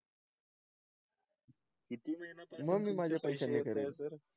म्हणून मी माझे पैसे नाही करत